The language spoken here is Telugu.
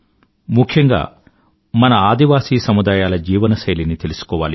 ముఖ్యంగా మన ఆదివాసీల జీవన శైలిని తెలుసుకోవాలి